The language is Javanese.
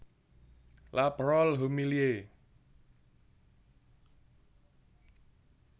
La Parole humiliée